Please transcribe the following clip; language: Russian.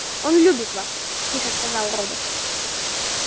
он любит вас тихо сказал робот